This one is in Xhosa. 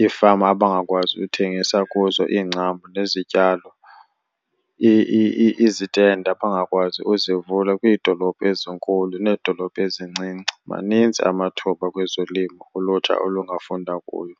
iifama abangakwazi uthengisa kuzo iingcambu nezityalo, izitendi abangakwazi uzivula kwiidolophu ezinkulu needolophu ezincinci. Maninzi amathuba kwezolimo ulutsha olungafunda kuyo.